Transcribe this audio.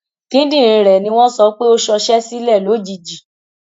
kíndìnrín rẹ ni wọn sọ pé ó ṣọṣẹ sílẹ lójijì